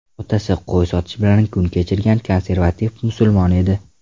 Otasi qo‘y sotish bilan kun kechirgan konservativ musulmon edi.